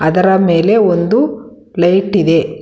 ಅದರ ಮೇಲೆ ಒಂದು ಪ್ಲೇಟ್ ಇದೆ.